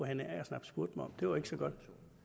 hanne agersnap spurgte mig om det var ikke så godt